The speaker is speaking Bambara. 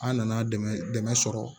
An nana dɛmɛ dɛmɛ sɔrɔ